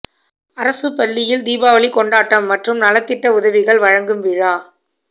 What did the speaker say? அரசு பள்ளியில் தீபாவளி கொண்டாட்டம் மற்றும் நலத்திட்ட உதவிகள் வழங்கும் விழா